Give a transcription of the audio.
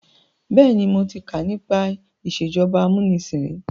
Bẹ́ẹ̀ni, mo ti kà nípa ìsèjọba amúnisìn ríi.